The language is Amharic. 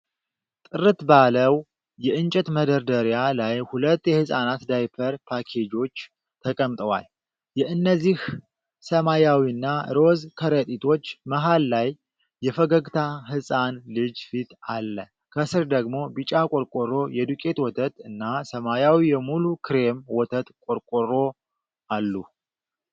ጥርት ባለው የእንጨት መደርደሪያ ላይ ሁለት የሕፃናት ዳይፐር ፓኬጆች ተቀምጠዋል። የእነዚህ ሰማያዊና ሮዝ ከረጢቶች መሃል ላይ የፈገግታ ሕፃን ልጅ ፊት አለ። ከስር ደግሞ ቢጫ ቆርቆሮ የዱቄት ወተት እና ሰማያዊ የሙሉ ክሬም ወተት ቆርቆሮ አሉ።